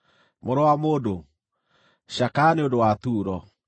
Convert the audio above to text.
“Mũrũ wa mũndũ, cakaya nĩ ũndũ wa Turo.